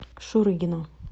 шурыгина